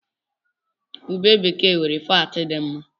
Ube bekee nwere faatị dị mma.